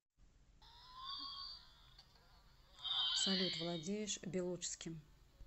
салют владеешь белуджским